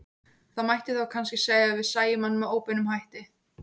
Það mætti þá kannski segja að við sæjum hann með óbeinum hætti.